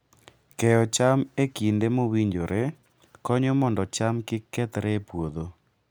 Keyo cham e kinde mowinjore konyo mondo cham kik kethre e puodho.